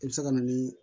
I bɛ se ka na ni